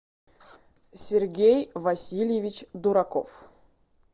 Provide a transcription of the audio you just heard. сергей васильевич дураков